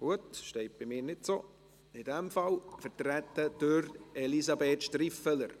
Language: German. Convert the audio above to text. Gut, in dem Fall: vertreten durch Elisabeth Striffeler.